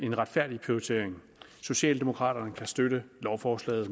retfærdig prioritering socialdemokraterne kan støtte lovforslaget